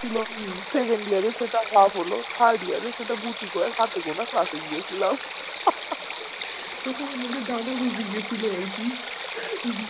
ছিল second year এ সেটা half হলো খাই দিয়া যে সেটা গুটি কয়েক হাতে গোনা pass এ গিয়ে ছিলাম তখন আমাদের ডানা গজিয়ে গিয়েছিলো আর কি